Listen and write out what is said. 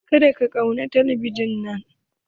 Ka da ka kunna talabijin nan!